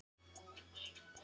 Þá náði